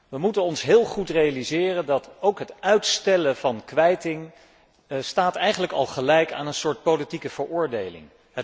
Wij moeten ons heel goed realiseren dat ook het uitstellen van kwijting eigenlijk al gelijk staat aan een soort politieke veroordeling.